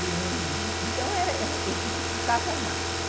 E, é, então, dificultava ao máximo.